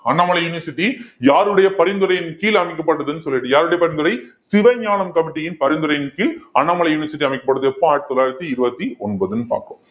Annamalai university யாருடைய பரிந்துரையின் கீழ் அமைக்கப்பட்டதுன்னு சொல்லிட்டு யாருடைய பரிந்துரை சிவஞானம் committee யின் பரிந்துரையின் கீழ் அண்ணாமலை university அமைக்கப்படுது எப்போ ஆயிரத்தி தொள்ளாயிரத்தி இருபத்தி ஒன்பதுன்னு பார்ப்போம்